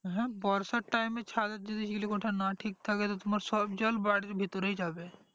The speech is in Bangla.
হা বর্ষার time এ ছাদের যদি চিলেকোঠা না ঠিক থাকে তো তোমার সব জল বাড়ির ভিতরে যাবে